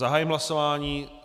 Zahájím hlasování.